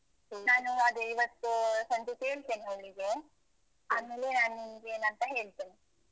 ನಾನು ಅದೇ ಇವತ್ತು ಸಂಜೆ ಕೇಳ್ತೇನೆ ಅವ್ಳಿಗೆ ಆಮೇಲೆ ನಾನ್ ನಿಮ್ಗೇನಂತ ಹೇಳ್ತೇನೆ.